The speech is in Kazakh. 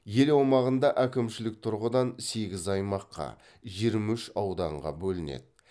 ел аумағында әкімшілік тұрғыдан сегіз аймаққа жиырма үш ауданға бөлінеді